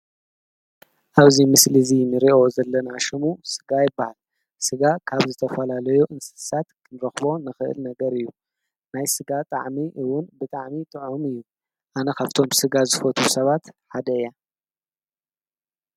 ኣውዚ ምስሊ እዙይ ንሬኦ ዘለናሾሙ ሥጋ ኣይበሃል ሥጋ ካብ ዝተፈላለዮ እንስሳት ክንረኽቦ ንኽእል ነገር እዩ ናይ ሥጋ ጥዕሚ እውን ብጥዕሚ ጥዑሚ እዩ ኣነኻብቶም ሥጋ ዝፈቱ ሰባት ሓደ ያ።